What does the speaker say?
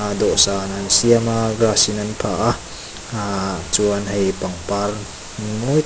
dawhsan an siam a grass in an phah a aaa chuan hei pangpar mawi tak--